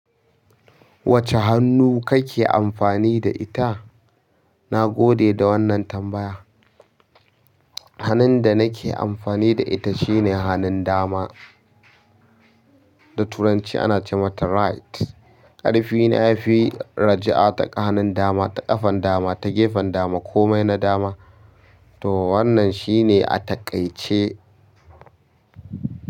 Wacce hannu kake amfani da ita? Na gode da wannan tambaya. Hanun da nake amfani da ita shine hanun dama. Da turanci ana ce mata right. Ƙarfina ya fi raja'a ta hanun dama, ta ƙafan dama, ta gefen dama komai na dama. To wannan shine a taƙaice.